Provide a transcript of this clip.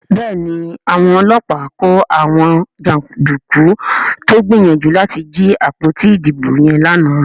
Béèni Àwọn ọlọ́pàá kò àwọn janduku tó gbìyànjú láti jí àpótí ìdìbò yen lànà.